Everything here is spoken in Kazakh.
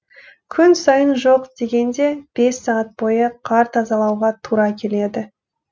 күн сайын жоқ дегенде бес сағат бойы қар тазалауға тура келеді